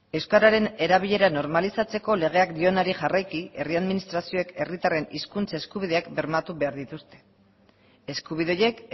euskararen erabilera normalizatzeko legeak dionari jarraiki herri administrazioek herritarren hizkuntza eskubideak bermatu behar dituzte eskubide horiek